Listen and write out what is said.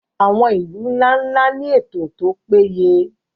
àwọn ilu nla-nla ni eto to peye